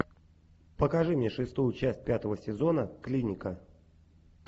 покажи мне шестую часть пятого сезона клиника